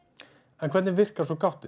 en hvernig virkar gáttin